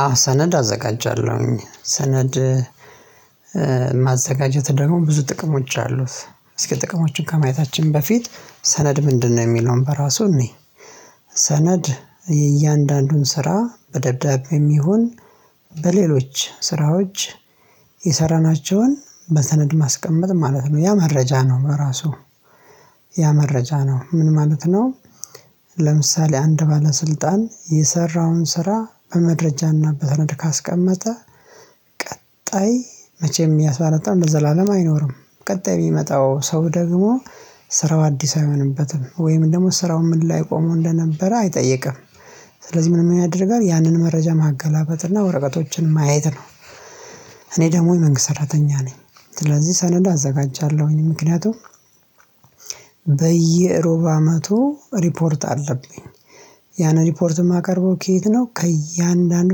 አዎ ሰነድ አዘጋጃለሁኝ ሰነድ ማዘጋጀት ደግሞ ብዙ ጥቅሞች አሉት እስኪ ጥቅሞችን ከማየታችን በፊት ሰነድ ምንድነው የሚለውን በራሱ እንይ፤ ሰነድ የእያንዳንዱን ስራ በደብዳቤ የሚሆን በሌሎች ስራዎች የሰራናቸውን በሰነድ ማስቀመጥ ማለት ነው ያ መረጃ ነው በራሱ ያ መረጃ ነው ምን ማለት ነው ለምሳሌ አንድ ባለስልጣን የሰራውን ስራ በመረጃና በሰነድ ካስቀመጠ ቀጣይ መቼም ያ ባለስልጣን ለዘላለም አይኖርም ቀጣይ የሚመጣው ሰው ደግሞ ስራው አዲስ አይሆንበትም ወይም ደግሞ ስራው ምን ላይ ቆሞ እንደነበረ አይጠይቅም ስለዚህ ምን ምን ያደርጋል ያንን መረጃ ማገላበጥና ወረቀቶችን ማየት ነው እኔ ደግሞ የመንግስት ሰራተኛ ነኝ ስለዚህ ሰነድ አዘጋጃለሁኝ ምክንያቱም በየሩብ አመቱ ሪፖርት አለብኝ ያንን ሪፖርት የማቀርበው ከየት ነው ከእያንዳንዱ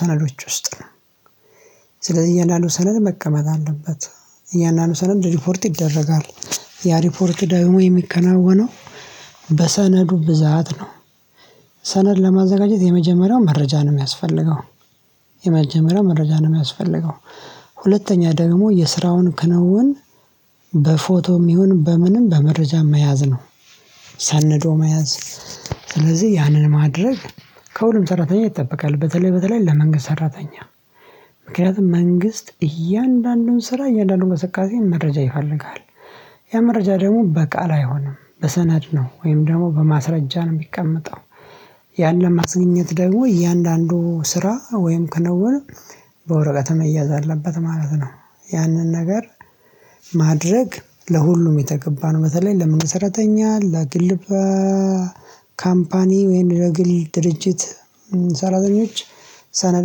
ሰነዶች ውስጥ ነው ስለዚህ እያንዳንዱ ሰነድ መቀመጥ አለበት እያንዳንዱ ሰነድ ሪፖርት ይደረጋል ያ ሪፖርት ደግሞ የሚከናወነው በሰነዱ ብዛት ነው ሰነድ ለማዘጋጀት የመጀመሪያው መረጃ ነው የሚያስፈልገው የመጀመሪያው መረጃ ነው የሚያስፈልገው ሁለተኛ ደግሞ የስራውን ክንውን በፎቶም ይሁን በምንም በመረጃም መያዝ ነው፤ ሰንዶ መያዝ ስለዚህ ያንን ማድረግ ከሁሉም ሰራተኛ ይጠበቃል በተለይ በተለይ ለመንግስት ሰራተኛ ምክንያቱም መንግስት እያንዳንዱን ስራ እያንዳንዱን እንቅስቃሴ መረጃ ይፈልጋል፤ ያ መረጃ ደግሞ በቃል አይሆንም በሰነድ ነው ወይም ደግሞ በማስረጃ ነው የሚቀመጠው ያን ለማስገኘት ደግሞ እያንዳንዱ ስራ ወይም ክንውን በወረቀት መያዝ አለበት ማለት ነው ያንን ነገር ማድረግ ለሁሉም የተገባን በተለይ ለመንግስት ሰራተኛ ለግል ካምፓኒ ወይንም ለግል ድርጅት ሰራተኞች ሰነድ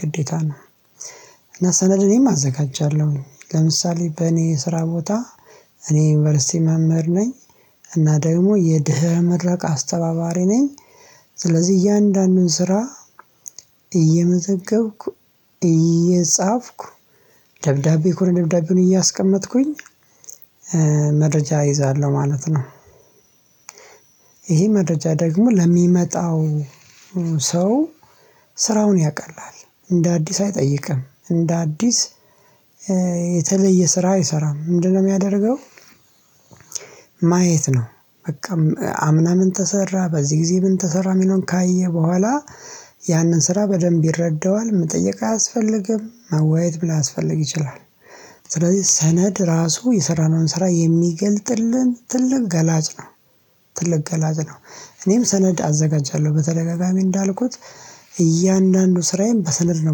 ግዴታ ነው እና ሰነድ እኔም አዘጋጃለሁኝ ለምሳሌ በእኔ ስራ ቦታ እኔ ዩኒቨርሲቲ መምህር ነኝ እና ደግሞ የድህረ ምረቃ አስተባባሪ ነኝ ስለዚህ እያንዳንዱን ስራ እየመዘገብኩ እየጻፍኩ ደብዳቤ እኮ ደብዳቤውን እያስቀመጥኩኝ መረጃ እይዛለሁ ማለት ነው። መረጃ ደግሞ ለሚመጣው ሰው ስራውን ያቀላል እንደ አዲስ አይጠይቅም እንደ አዲስ የተለየ ስራ አይሰራም ምንድነው የሚያደርገው ማየት ነው በቃም አምና ምን ተሰራ በዚህ ጊዜ ምን ተሰራ የሚለውን ካየ በኋላ ያንን ስራ በደንብ ይረዳዋል መጠየቅ አያስፈልግም ማዋየም ላያስፈልግም ይችላል ስለዚህ ሰነድ ራሱ የሰራነውን ስራ የሚገልጥልን ትልቅ ገላጭ ነው ትልቅ ገላጭ ነው እኔም ሰነድ አዘጋጃለሁ በተደጋጋሚ እንዳልኩት እያንዳንዱ ስራዬን በሰነድ ነው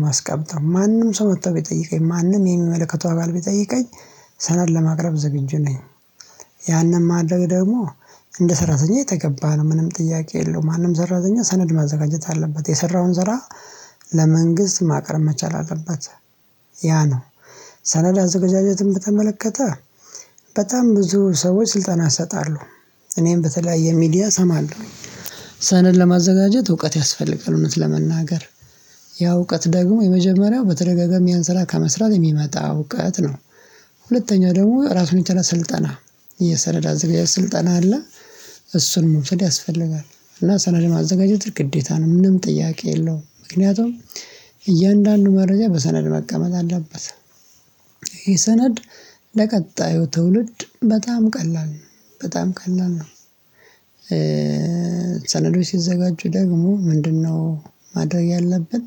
የማስቀምጠው ማንም ሰው መጥቶ ቢጠይቀኝ ማንም የሚመለከተው አካል ቢጠይቀኝ ሰነድ ለማቅረብ ዝግጁ ነኝ ያንን ማድረግ ደግሞ እንደ ሰራተኛ የተገባ ነው ምንም ጥያቄ የለውም ማንም ሰራተኛ ሰነድ ማዘጋጀት አለበት የሰራውን ዘራ ለመንግስት ማቅረብ መቻል አለበት ያ ነው ሰነድ አዘጋጃጀትን በተመለከተ በጣም ብዙ ሰዎች ስልጠና ይሰጣሉ፤ እኔም በተለያየ ሚዲያ እሰማለሁ ሰነድ ለማዘጋጀት እውቀት ያስፈልጋል እውነት ለመናገር ያ እውቀት ደግሞ የመጀመሪያው በተደጋጋሚ ያን ስራ ከመስራት የሚመጣ እውቀት ነው ሁለተኛ ደግሞ ራሱን የቻለ ስልጠና የሰነድ አዘገጃጀት ስልጠና አለ እሱን መውሰድ ያስፈልጋል እና ሰነድ ማዘጋጀት ግዴታ ነው ምንም ጥያቄ የለውም ምክንያቱም እያንዳንዱ መረጃ በሰነድ መቀመጥ አለበት ይሄ ሰነድ ለቀጣዩ ትውልድ በጣም ቀላል ነው በጣም ቀላል ነው ሰነዶች ሲዘጋጁ ደግሞ ምንድነው ማድረግ ያለብን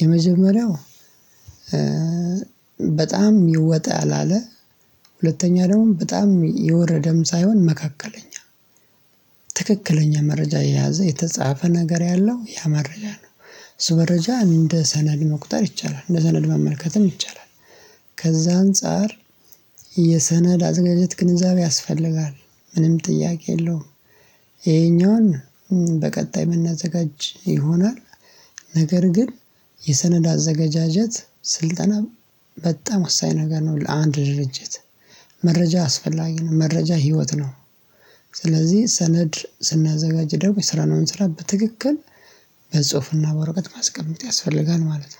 የመጀመሪያው በጣም ወጣ ያላለ ሁለተኛ ደግሞ በጣም የወረደም ሳይሆን መካከለኛ ትክክለኛ መረጃ የያዘ የተጻፈ ነገር ያለው ያ መረጃ ነው እሱ መረጃ እንደ ሰነድ መቁጠር ይቻላል እንደ ሰነድ መመልከትም ይቻላል ከዛ አንፃር የሰነድ አዘገጃጀት ግንዛቤ ያስፈልጋል ምንም ጥያቄ የለውም ይሄኛውን በቀጣይ የምናዘጋጅ ይሆናል ነገር ግን የሰነዳ አዘገጃጀት ስልጠና በጣም ወሳኝ ነገር ነው ለአንድ ድርጅት መረጃ አስፈላጊ ነው መረጃ ህይወት ነው ስለዚህ ሰነድ ስናዘጋጅ ደግሞ የሰራነውን ስራ በትክክል በጽሁፍና በወረቀት ማስቀመጥ ያስፈልጋል ማለት ነው